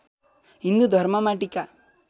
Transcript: हिन्दू धर्ममा टीका